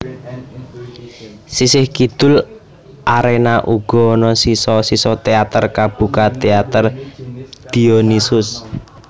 Sisih kidul arena uga ana sisa sisa teater kabuka Theatre Dionysus